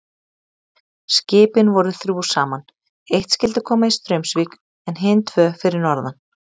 Skipin voru þrjú saman, eitt skyldi koma í Straumsvík en hin tvö fyrir norðan.